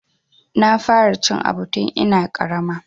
Na fara cin aɓu tun ina ƙarama.